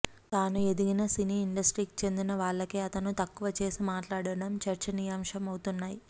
తాను ఎదిగిన సినీ ఇండస్ట్రీకి చెందిన వాళ్లకే అతను తక్కువ చేసి మాట్లాడటం చర్చనీయాంశం అవుతున్నాయి